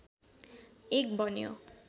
एक बन्यो